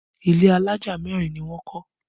Ilé alájà mẹ́rin ni wọ́n kọ́